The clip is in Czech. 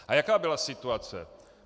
A jaká byla situace?